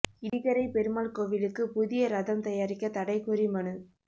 இடிகரை பெருமாள் கோவிலுக்கு புதிய ரதம் தயாரிக்க தடை கோரி மனு